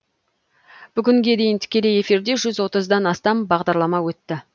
бүгінге дейін тікелей эфирде жүз отыз дан астам бағдарлама өтті